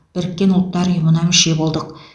біріккен ұлттар ұйымына мүше болдық